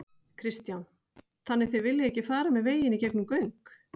Kristján: Þannig þið viljið ekki fara með veginn í gegnum göng?